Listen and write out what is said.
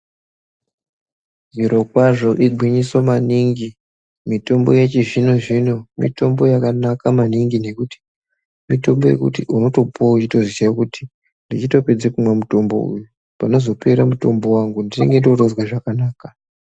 Zvirokwazvo igwinyiso maningi, mitombo yechizvino-zvino mitombo yakanaka maningi nekuti mitombo yekuti unotopuwa uchitoziya kuti ndichitopedze kumwa mutombo uyu panozopera mutombo wangu ndinenge ndootozwa zvakanaka.